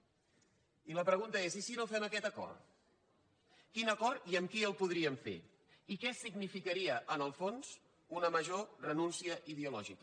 i la pregunta és i si no fem aquest acord quin acord i amb qui el podríem fer i què significaria en el fons una major renúncia ideològica